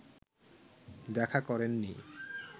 দেখা করেননি